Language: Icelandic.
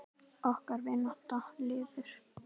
Okkar vinátta lifir.